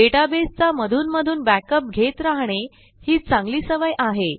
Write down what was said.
डेटाबेसचा मधूनमधून backupघेत राहणे ही चांगली सवय आहे